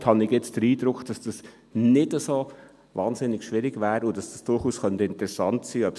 Ich habe den Eindruck, dass namentlich der zweite Punkt nicht so wahnsinnig schwierig wäre und es durchaus interessant sein könnte.